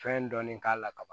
Fɛn dɔɔni k'a la ka ban